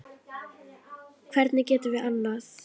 Hvernig getum við annað?